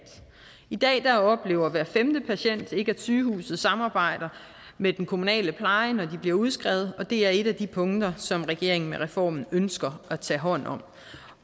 i dag oplever hver femte patient ikke at sygehuset samarbejder med den kommunale pleje når de bliver udskrevet og det er et af de punkter som regeringen med reformen ønsker at tage hånd om